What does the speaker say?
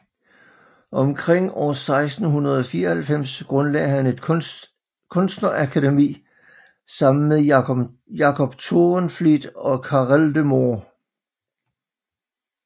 Omkring år 1694 grundlagde han et kunstnerakademi sammen med Jacob Toorenvliet og Carel de Moor